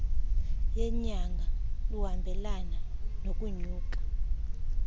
yenyanga luhambelane nokunyuka